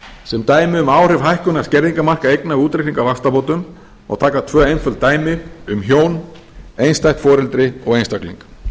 sem dæmi um áhrif hækkunar skerðingarmarka eigna við útreikning á vaxtabótum má taka tvö einföld dæmi um hjón einstætt foreldri og einstakling